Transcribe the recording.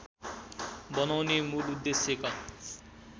बनाउने मूल उद्देश्यका